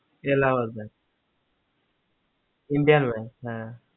alahabad bank indian bank hey